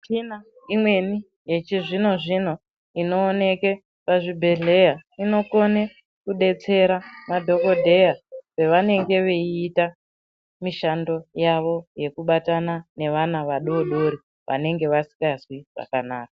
Muchina imweni yechizvino zvino inoonekwa pazvibhedhlera inokona kuonekwa pazvibhedhlera nemadhokodheya pavanenge veita mishando yawo yekubatana nevana vadodori vanenge vasinganzwi zvakanaka.